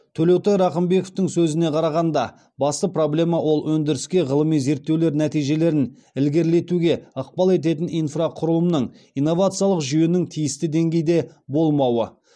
төлеутай рақымбековтың сөзіне қарағанда басты проблема ол өндіріске ғылыми зерттеулер нәтижелерін ілгерілетуге ықпал ететін инфрақұрылымның инновациялық жүйенің тиісті деңгейде болмауы